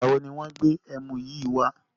Ìgbàwo ni wọn gbé ẹmu yìí wá?